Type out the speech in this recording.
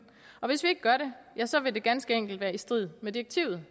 og hvis vi ikke gør det ja så vil det ganske enkelt være i strid med direktivet